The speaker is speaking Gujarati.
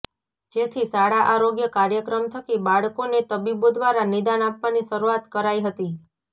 જેથી શાળા આરોગ્ય કાર્યક્રમ થકી બાળકોને તબીબો દ્વારા નિદાન આપવાની શરૃઆત કરાઈ હતી